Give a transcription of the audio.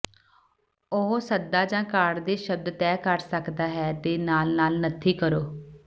ਉਹ ਸੱਦਾ ਜ ਕਾਰਡ ਦੇ ਸ਼ਬਦ ਤੈਅ ਕਰ ਸਕਦਾ ਹੈ ਦੇ ਨਾਲ ਨਾਲ ਨੱਥੀ ਕਰੋ